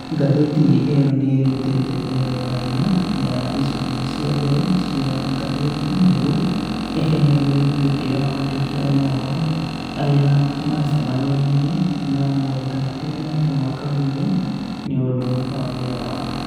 Ngathĩti ĩyo nĩ rutĩte mĩthemba ĩna ya icunjĩ cia mbere cia ngathĩti nĩguo ĩheage gĩtĩo andiki a mohoro arĩa maacemanirie na moritũ matiganĩte mwaka-inĩ ũyũ nĩ ũndũ wa wĩra wao